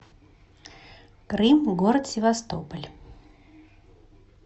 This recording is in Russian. крым город севастополь